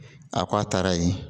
A ko a taara yen